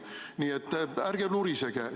Nii et ärge nurisege.